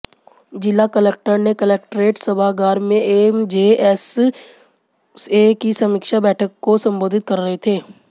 जिला कलक्टर ने कलेक्ट्रेट सभागार में एमजेएसए की समीक्षा बैठक को सम्बोधित कर रहे थे